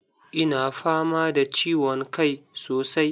Ina fama da ciwon kai sosai.